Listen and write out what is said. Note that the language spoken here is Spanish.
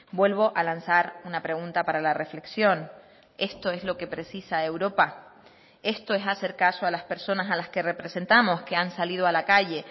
vuelvo a lanzar una pregunta para la reflexión esto es lo que precisa europa esto es hacer caso a las personas a las que representamos que han salido a la calle